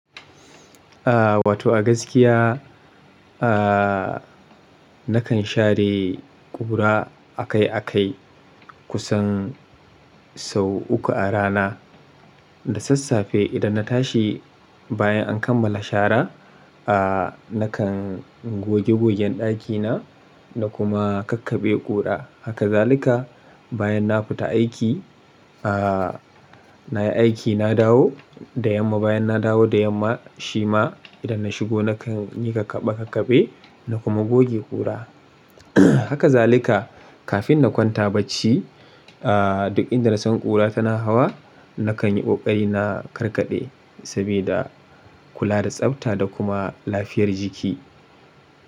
Aa wato a gaskiya aa nakan share ƙura akai-akai kusan sau uku a rana. Da sassafe idan na tashi bayan an kammala shara, aa nakan goge gogen ɗakina da kuma kakkaɓe ƙura. Ha kazalika bayan na fita aiki aa nayi aiki na dawo da yamma, bayan na dawo da yamma shi ma idan na shigo nakan yi kakkaɓe kakkaɓe na kuma goge ƙura. Haka zalika kafin na kwanta bacci aa duk inda na san ƙura tana hawa nakan yi ƙoƙari na karkaɗe sabida kula da tsafta da kuma lafiyar jiki.